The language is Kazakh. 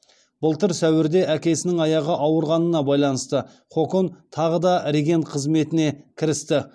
былтыр сәуірде әкесінің аяғы ауырғанына байланысты хокон тағы да регент қызметіне кірісті